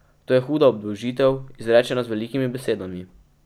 To je huda obdolžitev, izrečena z velikimi besedami.